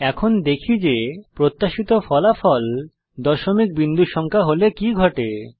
এখন দেখি যে প্রত্যাশিত ফলাফল দশমিক বিন্দু সংখ্যা হলে কি ঘটে